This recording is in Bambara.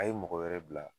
A ye mɔgɔ wɛrɛ bila